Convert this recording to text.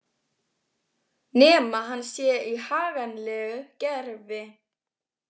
Nema hann sé í haganlegu gervi.